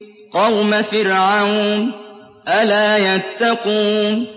قَوْمَ فِرْعَوْنَ ۚ أَلَا يَتَّقُونَ